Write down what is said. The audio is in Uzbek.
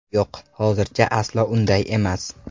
Yo‘q, hozircha aslo unday emas.